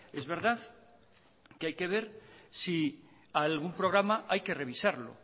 es verdad que hay que ver si algún programa hay que revisarlo